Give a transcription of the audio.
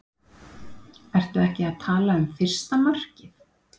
Ertu ekki að tala um fyrsta markið?